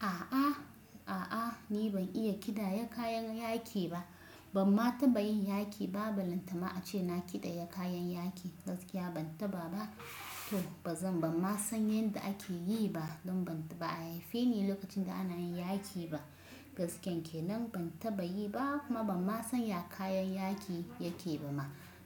A'a, a'a ni ban iya ƙidaya kayan yaƙi ba. Ban ma taɓa yin yaƙi ba. Ba lantama a ce na kiɗaya kayan yaƙi. Gaskiya ban taɓa ba. To ba zan, ban ma san yadda ake yi ba. Don ba a haife ni lokacin da ana yin yaƙi ba. Gaskiyanke nan ban taɓa yi ba kuma ban ma san ya kayan yaƙi yake ba ma.